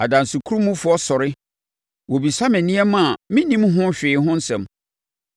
Adansekurumfoɔ sɔre; wɔbisa me nneɛma a mennim ho hwee ho asɛm.